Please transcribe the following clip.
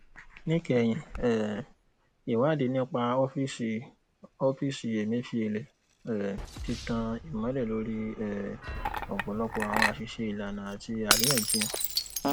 níkẹyìn um ìwádìí nípa ọfíìsì ọfíìsì emefiele um ti tan ìmọlẹ lórí um ọpọlọpọ àwọn àṣìṣe ìlànà àti àríyànjiyàn